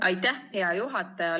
Aitäh, hea juhataja!